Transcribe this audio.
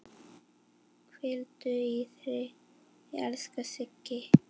Hvíldu í friði, elsku Siggi.